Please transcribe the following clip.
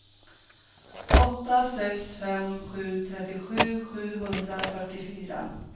åtta sex fem sju trettiosju sjuhundrafyrtiofyra